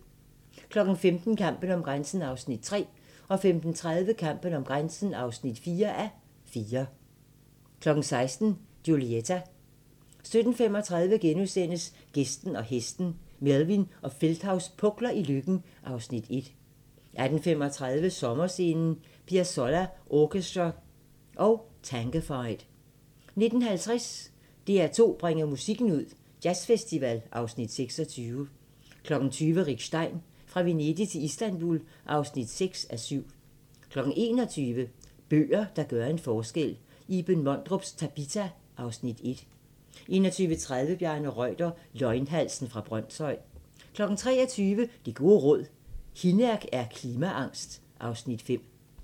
15:00: Kampen om grænsen (3:4) 15:30: Kampen om grænsen (4:4) 16:00: Julieta 17:35: Gæsten og hesten - Melvin og Feldthaus pukler i Løkken (Afs. 1)* 18:35: Sommerscenen: Piazzolla Orchestra &Tangofied 19:50: DR2 bringer musikken ud – Jazzfestival (Afs. 26) 20:00: Rick Stein: Fra Venedig til Istanbul (6:7) 21:00: Bøger, der gør en forskel - Iben Mondrups "Tabita" (Afs. 1) 21:30: Bjarne Reuter – Løgnhalsen fra Brønshøj 23:00: Det gode råd: Hinnerk er klimaangst (Afs. 5)